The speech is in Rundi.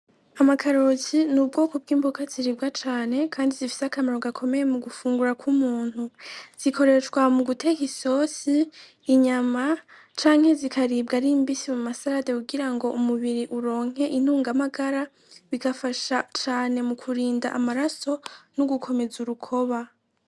Amakaroti n'ubwoko bw'imboga ziribwa cane kandi zifise akamaro gakomeye mu gufungura kw'umuntu, zikoreshwa mu guteka isosi, inyama, canke zikaribwa ari mbisi mu ma sarade kugira ngo umubiri uronke intungamagara, bigafasha cane mu kurinda amaraso n'ugukomeza urukoba.